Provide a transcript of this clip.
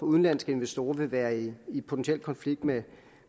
udenlandske investorer vil være i i potentiel konflikt med